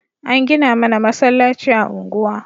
An gina mana masallaci a unguwa